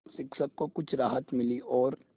शिक्षक को कुछ राहत मिली और